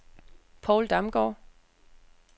Paul Damgaard